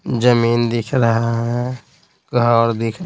जमीन दिख रहा है घर दिख--